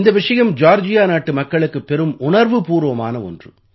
இந்த விஷயம் ஜார்ஜியா நாட்டு மக்களுக்குப் பெரும் உணர்வுபூர்வமான ஒன்று